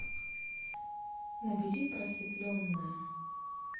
набери просветленная